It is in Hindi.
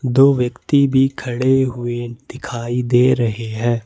दो व्यक्ति भी खड़े हुए दिखाई दे रहे हैं।